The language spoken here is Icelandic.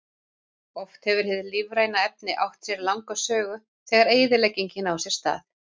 Oft hefur hið lífræna efni átt sér langa sögu, þegar eyðileggingin á sér stað.